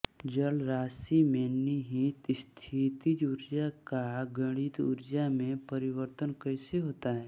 जल राशि में निहित स्थितिज ऊर्जा का गतिज ऊर्जा में परिवर्तन कैसे होता है